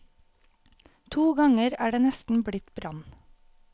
To ganger er det nesten blitt brann.